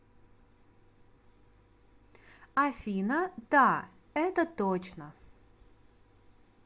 афина да это точно